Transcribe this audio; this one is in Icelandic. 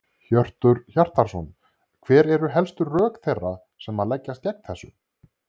Hjörtur Hjartarson: Hver eru helstu rök þeirra sem að leggjast gegn þessu?